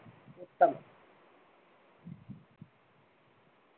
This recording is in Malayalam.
ഉത്തമം.